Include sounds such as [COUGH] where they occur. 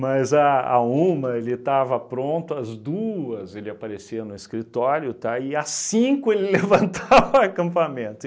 Mas à à uma, ele estava pronta, às duas ele aparecia no escritório, tá, e às cinco ele [LAUGHS] levantava o acampamento.